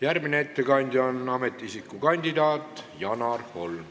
Järgmine ettekandja on ametiisiku kandidaat Janar Holm.